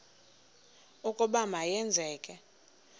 ukuba ma yenzeke